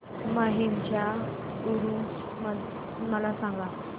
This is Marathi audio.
माहीमचा ऊरुस मला सांग